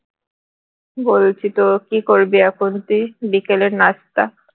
বলছি তো কি করবি এখন তুই বিকালের নাস্তা